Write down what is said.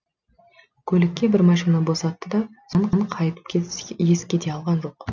көлікке бір машина босатты да қайтып еске де алған жоқ